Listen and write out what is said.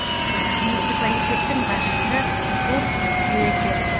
муниципалитеттің басшысы курт шретер